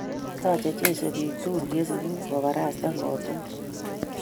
Taachei Jesu biik tukul che sigu obaraste kot tukul